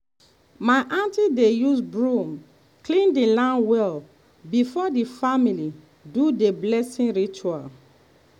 my aunty dey use broom clean the land well before the family do the blessing ritual.